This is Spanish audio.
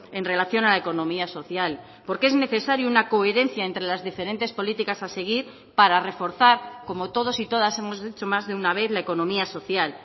en relación a la economía social porque es necesario una coherencia entre las diferentes políticas a seguir para reforzar como todos y todas hemos hecho más de una vez la economía social